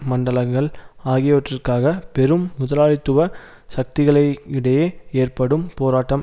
மண்டலங்கள் ஆகியவற்றிற்காக பெரும் முதலாளித்துவ சக்திகளை இடையே ஏற்படும் போராட்டம்